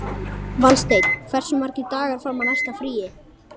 Valsteinn, hversu margir dagar fram að næsta fríi?